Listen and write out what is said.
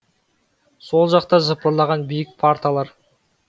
сол жақта жыпырлаған биік парталар